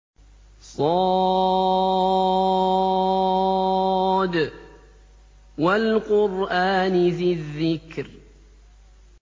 ص ۚ وَالْقُرْآنِ ذِي الذِّكْرِ